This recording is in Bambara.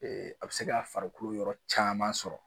a bɛ se ka farikolo yɔrɔ caman sɔrɔ